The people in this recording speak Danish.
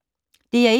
DR1